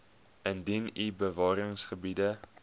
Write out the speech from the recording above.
indien u bewaringsgebiede